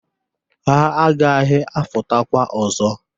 Ha aghaghị afụtakwa ọzọ.